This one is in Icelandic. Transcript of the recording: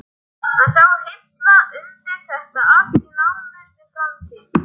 Hann sá hilla undir þetta allt í nánustu framtíð.